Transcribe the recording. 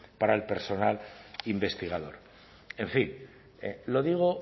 para el personal investigador en fin lo digo